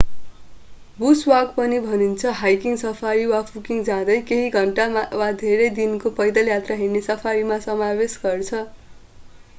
Bush walk” पनि भनिन्छ hiking safari” वा फूटिङ” जाँदै केही घन्टा वा धेरै दिनको पैदल यात्रा हिड्ने सफारीमा समावेश गर्छ।